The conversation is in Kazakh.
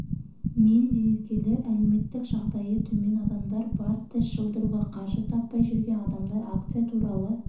мен зейнеткерлер әлеуметтік жағдайы төмен адамдар бар тіс жұлдыруға қаржы таппай жүрген адамдар акция туралы